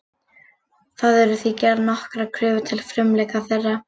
Það eru því gerðar nokkrar kröfur til frumleika þeirra.